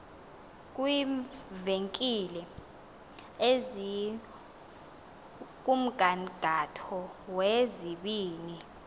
kwiivenkile ezikumgangatho wezibini